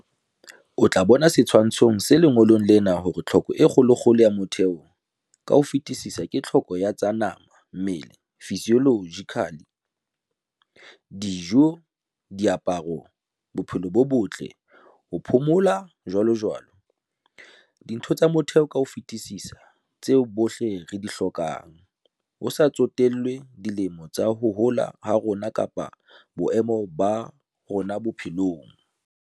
O tla bona setshwantshong se lengolong lena hore tlhoko e kgolokgolo ya motheo ka ho fetisisa ke tlhoko ya tsa Nama-Mmele, Physiological- dijo, diaparo, bophelo bo botle, ho phomola, jwalojwalo. Dintho tsa motheo ka ho fetisisa tseo bohle re di hlokang, ho sa tsotellwe dilemo tsa ho hola ha rona kapa boemo ba rona bophelong.